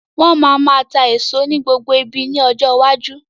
Wọn má máa tá èso ní gbogbo ibi ni ọjọ́ iwájú.